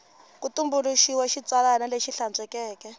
ku tumbuluxiwile xitsalwana lexi hlantswekeke